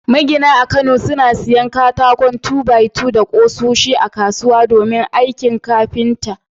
Magina a kano suna siyan katakon 2-by-2 da kusoshi a kasuwa domin aikin kafinta.